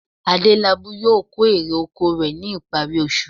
Adélabú yóò kó èrè oko rẹ̀ ní ìparí oṣù